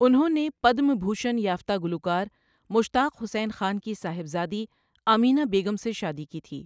اُنہوں نے پدم بھوشن یافتہ گلوکار مشتاق حسین خان کی صاحبزادی آمینہ بیگم سے شادی کی تھی۔